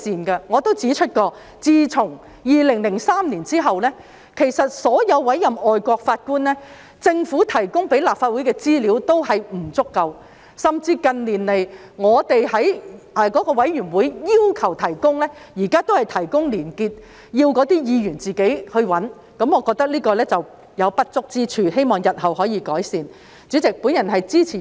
我亦曾指出，自2003年後，就所有外籍法官的委任安排，政府向立法會提供的資料均不足夠，甚至近年在委員會要求下，當局亦只是提供連結，要議員自己處理，我認為這有不足之處，希望當局日後可以改善。